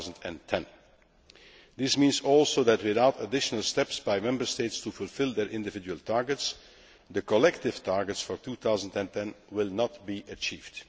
2010. This also means that, without additional steps by Member States to fulfil their individual targets, the collective targets for 2010 will not be achieved.